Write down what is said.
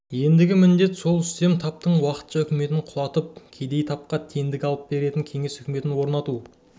ендігі міндет сол үстем таптың уақытша үкіметін құлатып кедей тапқа тендік алып беретін кеңес үкіметін орнату